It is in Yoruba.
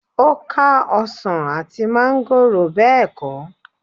ó ká ọsàn àti máńgò bẹ́ẹ̀ kọ́?